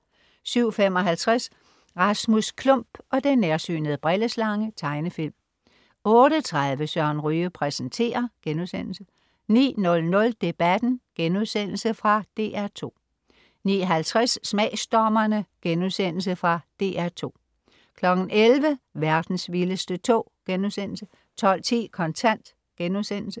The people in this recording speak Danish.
07.55 Rasmus Klump og den nærsynede brilleslange. Tegnefilm 08.30 Søren Ryge præsenterer* 09.00 Debatten.* Fra DR2 09.50 Smagsdommerne.* Fra DR2 11.00 Verdens vildeste tog* 12.10 Kontant*